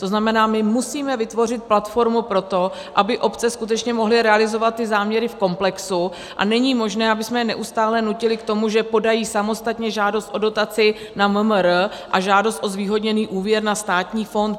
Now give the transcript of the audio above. To znamená, my musíme vytvořit platformu pro to, aby obce skutečně mohly realizovat ty záměry v komplexu, a není možné, abychom je neustále nutili k tomu, že podají samostatně žádost o dotaci na MMR a žádost o zvýhodněný úvěr na státní fond.